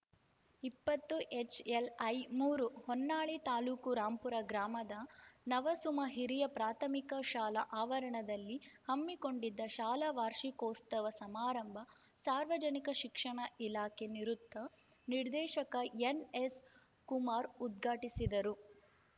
ಇಪ್ಪತ್ತು ಎಚ್‌ಎಲ್‌ಐ ಮೂರು ಹೊನ್ನಾಳಿ ತಾ ರಾಂಪುರ ಗ್ರಾಮದ ನವಸುಮ ಹಿರಿಯ ಪ್ರಾಥಮಿಕ ಶಾಲಾ ಆವರಣದಲ್ಲಿ ಹಮ್ಮಿಕೊಂಡಿದ್ದ ಶಾಲಾ ವಾರ್ಷಿಕೋತ್ಸವ ಸಮಾರಂಭ ಸಾರ್ವಜನಿಕ ಶಿಕ್ಷಣ ಇಲಾಖೆ ನಿವೃತ್ತ ನಿರ್ದೇಶಕ ಎನ್‌ಎಸ್‌ಕುಮಾರ್‌ ಉದ್ಘಾಟಿಸಿದರು